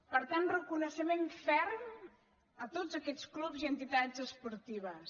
per tant reconeixement ferm a tots aquests clubs i entitats esportives